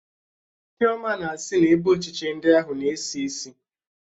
Chioma na-sị na ebe ochiche ndi ahụ na-esi isi